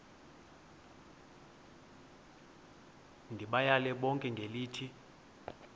ndibayale bonke ngelithi